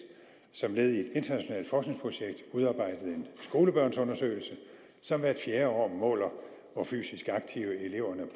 som led i et internationalt forskningsprojekt udarbejdet en skolebørnsundersøgelse som hvert fjerde år måler hvor fysisk aktive eleverne